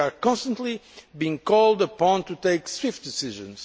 We are constantly being called upon to take swift decisions.